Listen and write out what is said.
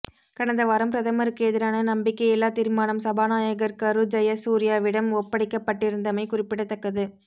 கடந்த வாரம் பிரதமருக்கு எதிரான நம்பிக்கையில்லா தீர்மானம் சபாநாயகர் கரு ஜயசூரியவிடம் ஒப்படைக்கப்பட்டிருந்தமை குறிப்பிடத்தக்கது